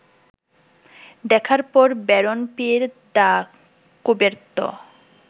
দেখার পর Baron Pierre de Coubertin